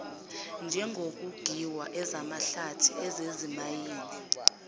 njengokongiwa ezamahlathi ezezimayini